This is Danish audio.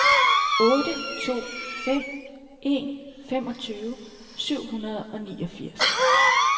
otte to fem en femogtyve syv hundrede og niogfirs